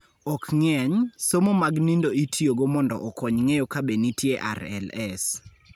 Ok ng�eny, somo mag nindo itiyogo mondo okony ng�eyo ka be nitie RLS.